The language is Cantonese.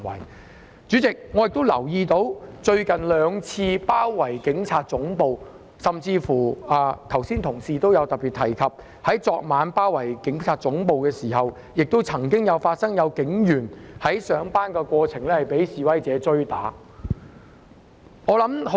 代理主席，我留意到最近兩次包圍警察總部的事件，以及有議員同事剛才特別提及在昨晚警察總部遭包圍期間，曾經發生警員在上班途中被示威者追打的情況。